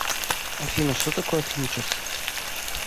афина что такое фьючерс